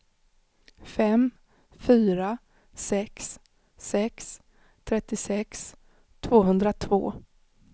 fem fyra sex sex trettiosex tvåhundratvå